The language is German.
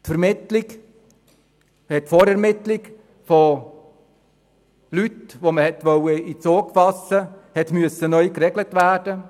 Die Vorermittlung, die man ins Auge fassen wollte, musste neu geregelt werden.